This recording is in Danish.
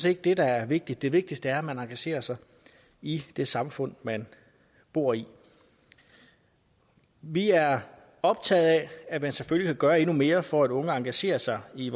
ikke det der er vigtigt det vigtigste er man engagerer sig i det samfund man bor i vi er optaget af at man selvfølgelig kan gøre endnu mere for at unge engagerer sig i